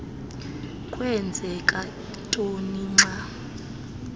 kwenzeka ntoni xa